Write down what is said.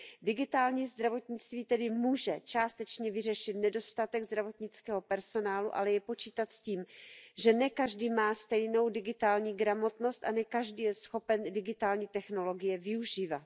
Digitální zdravotnictví tedy může částečně vyřešit nedostatek zdravotnického personálu, ale je třeba počítat s tím, že ne každý má stejnou digitální gramotnost a ne každý je schopen digitální technologie využívat.